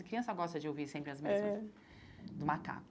A criança gosta de ouvir sempre as mesmas é do macaco.